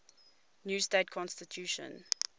new state constitution